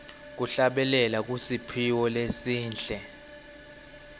kuhlabelela kusiphiwo lesihle